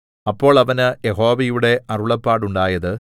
അപ്പോൾ അവന് യഹോവയുടെ അരുളപ്പാടുണ്ടായത്